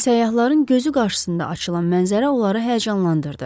Səyyahların gözü qarşısında açılan mənzərə onları həyəcanlandırdı.